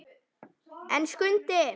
En Skundi!